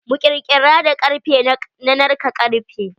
Mi kirkira da karfe na narka karfe.